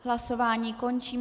Hlasování končím.